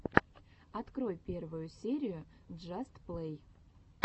открой первую серию джаст плей